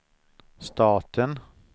staten